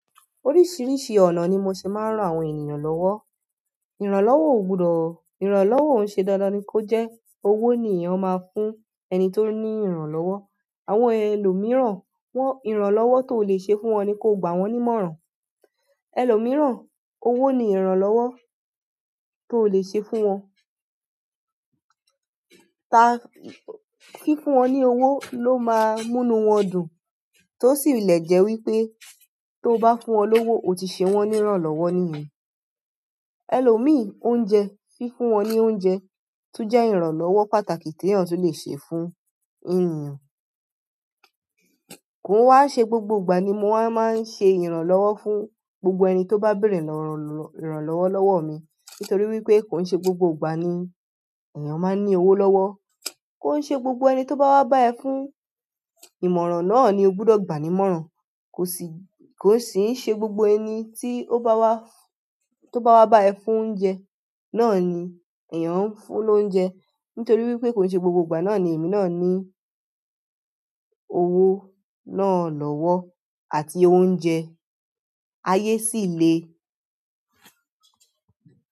Oríṣiríṣi ọ̀nà ni mo ṣé máa ń ran àwọn ènìyàn lọ́wọ́. Ìrànlọ́wọ́ ò gbudo, ìrànlọ́wọ́ òún ṣe dandan ni kó jẹ́, owó ni èèyàn máa ń fún ẹni tó ní ìrànlọ́wọ́. Àwọn ẹlòmíràn, wọ́n ìrànlọ́wọ́ tó lè ṣe fún wọn ni kó gbà wọ́n nímọ̀ràn. Ẹlòmíràn, owó ni ìrànlọ́wọ́ tó lè ṣe fún wọn. Ta fún, fi fún wọn ní owó ló máa múnu wọ́n dùn, tó sì le jẹ́ wípé tó bá fún wọn lówó, o ti ṣe wọ́n níranlọ́wọ́ níyen. Elòmíì, oúnjẹ, fi fún wọn ní oúnjẹ, tún jẹ́ ìrànlọ́wọ́ pàtàkì tí èèyàn tún le ṣe fún ènìyàn. Kò wá n ṣe gbogbo ìgbà ni mo máa ń ṣe ìrànlọ́wọ́ fún gbogbo ẹni tó bá bèèrè ìrànlọ́wọ́ lọ́wọ́ mi. Nítorí wípé kò ń ṣe gbogbo ìgbà ni èèyàn máa ń ní owó lọ́wọ́. Kò ń ṣe gbogbo ẹni tó bá wá bá ẹ fún ìmọ̀ràn náà ni ó gbudọ̀ gbà ní ìmọ̀ràn. Kò sì, kò sì ń ṣe gbogbo ẹni tí ó bá wá, tó bá wá bá ẹ fún oúnjẹ náà ni èèyàn ń fún lóúnjẹ. Nítorí wípé kò ń ṣe gbogbo ìgbà náà ni èmi náà ní owó náà lọ́wọ́ àti oúnjẹ. Ayé sì le.